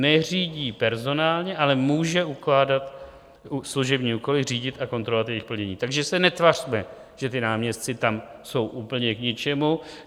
Neřídí personálně, ale může ukládat služební úkoly, řídit a kontrolovat jejich plnění, takže se netvařme, že ti náměstci tam jsou úplně k ničemu.